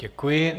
Děkuji.